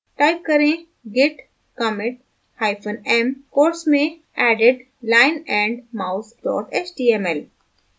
type करें git commit hyphen m quotes में added lionandmouse html